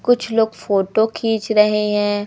कुछ लोग फोटो खींच रहे हैं।